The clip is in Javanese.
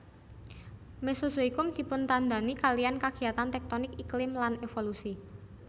Mesozoikum dipuntandhani kaliyan kagiyatan tektonik iklim lan evolusi